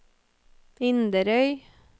Inderøy